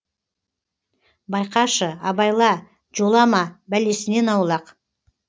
байқашы абайла жолама бәлесінен аулақ